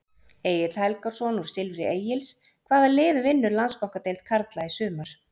Egill Helgason úr Silfri Egils Hvaða lið vinnur Landsbankadeild karla í sumar?